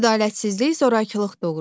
Ədalətsizlik zorakılıq doğurur.